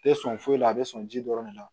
Tɛ sɔn foyi la a bɛ sɔn ji dɔrɔn de la